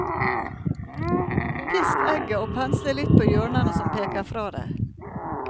Pisk egget og pensle litt på hjørnene som peker fra deg.